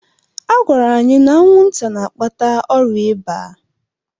Agwara anyị na anwụnta na-akpata ọrịa iba.